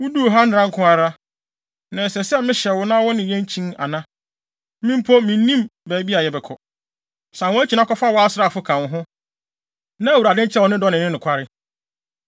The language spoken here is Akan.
Wuduu ha nnɛra nko ara. Na ɛsɛ sɛ mehyɛ wo na wo ne yɛn kyin ana? Me mpo, minnim baabi a yɛbɛkɔ. San wʼakyi na kɔfa wo asraafo ka wo ho, na Awurade nkyerɛ wo ne dɔ ne ne nokware.”